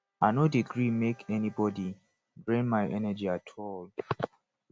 i no dey gree make anybodi drain my energy at all